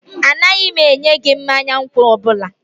Anaghị m enye gị mmanya nkwụ ọ bụla